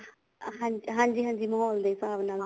ਹਾਂਜੀ ਹਾਂਜੀ ਮਾਹੋਲ ਦੇ ਹਿਸਾਬ ਨਾਲ